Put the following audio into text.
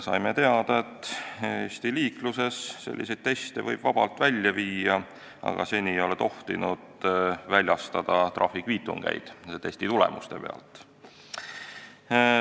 Saime teada, et Eesti liikluses võib selliseid teste vabalt läbi viia, aga seni ei ole tohtinud väljastada trahvikviitungeid testitulemuste põhjal.